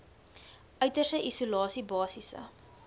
uiterste isolasie basiese